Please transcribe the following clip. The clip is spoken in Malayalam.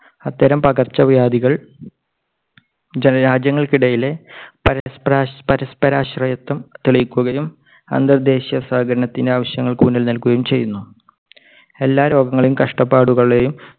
അത്തരം പകർച്ചവ്യാധികൾ രാജ്യങ്ങൾക്കിടയിലെ പരസ്പര പരസ്പരാശ്രയത്വം തെളിയിക്കുകയും അന്തർദേശീയ സഹകരണത്തിന്റെ ആവശ്യകതയ്ക്ക് ഊന്നൽ നൽകുകയും ചെയ്യുന്നു. എല്ലാ രോഗങ്ങളെയും കഷ്ടപ്പാടുകളെയും